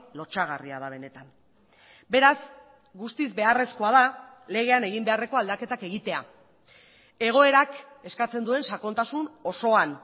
lotsagarria da benetan beraz guztiz beharrezkoa da legean egin beharreko aldaketak egitea egoerak eskatzen duen sakontasun osoan